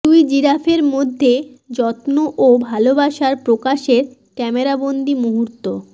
দুই জিরাফের মধ্যে যত্ন ও ভালোবাসার প্রকাশের ক্যামেরাবন্দী মুহূর্ত